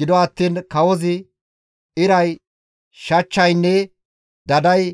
Gido attiin kawozi iray, shachchaynne daday